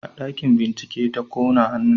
A ɗakin bincike ta kona hannunta